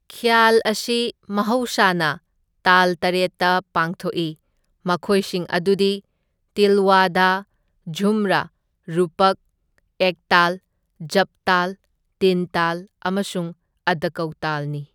ꯈ꯭ꯌꯥꯜ ꯑꯁꯤ ꯃꯍꯧꯁꯥꯅ ꯇꯥꯜ ꯇꯔꯦꯠꯇ ꯄꯥꯡꯊꯣꯛꯏ, ꯃꯈꯣꯏꯁꯤꯡ ꯑꯗꯨꯗꯤ ꯇꯤꯜꯋꯥꯗꯥ, ꯓꯨꯝꯔꯥ, ꯔꯨꯄꯛ, ꯑꯦꯛꯇꯥꯜ, ꯓꯞꯇꯥꯜ, ꯇꯤꯟꯇꯥꯜ ꯑꯃꯁꯨꯡ ꯑꯗꯀꯧꯇꯥꯜꯅꯤ꯫